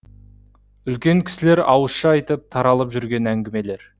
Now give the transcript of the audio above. үлкен кісілер ауызша айтып таралып жүрген әңгімелер